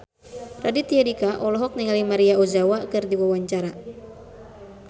Raditya Dika olohok ningali Maria Ozawa keur diwawancara